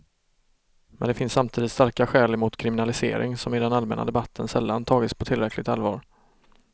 Men det finns samtidigt starka skäl emot kriminalisering, som i den allmänna debatten sällan tagits på tillräckligt allvar.